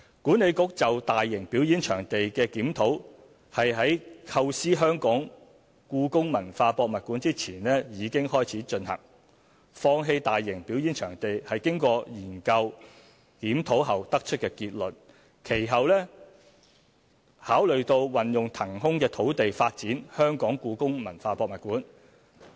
管理局就大型表演場地的檢討，是在構思故宮館前已開始進行，放棄大型表演場地是經過研究和檢討後得出的結論，其後考慮到運用騰空的土地發展故宮館。